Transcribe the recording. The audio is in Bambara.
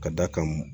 Ka d'a kan